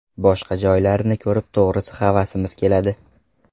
Boshqa joylarni ko‘rib to‘g‘risi havasimiz keladi.